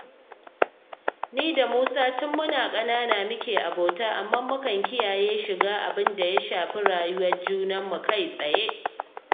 Ni da Musa tun muna ƙanana muke abota, amma mukan kiyaye shiga abin da ya shafi rayuwar junanmu kai-tsaye